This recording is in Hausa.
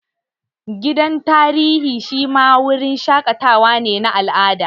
Gidan tarihi shi ma wurin shaƙatawa ne na al'ada